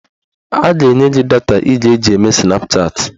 A ga-enye gị data ị ga-eji mee Snapchatị